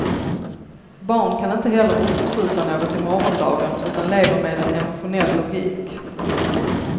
Barn kan inte heller uppskjuta något till morgondagen utan lever med en emotionell logik.